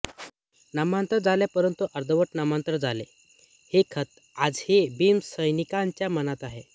नामांतर झाले परंतु अर्धवट नामांतर झाले ही खंत आजही भीमसैनिकांच्या मनात आहे